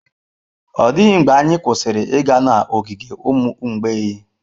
Ọ dịghị mgbe anyị kwụsịrị ịga n'ogige ụmụ mgbei.